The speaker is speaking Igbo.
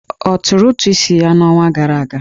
Ọ tụrụ ụtụ isi ya n'ọnwa gara aga?